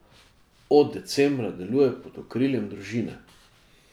Od decembra deluje pod okriljem Družine.